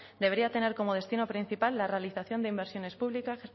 debería tener como destino principal la realización de inversiones públicas